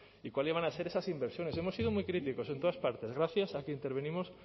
y cuáles iban a ser esas inversiones hemos sido muy críticos en todas partes gracias a que intervenimos